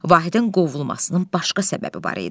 Vahidin qovulmasının başqa səbəbi var idi.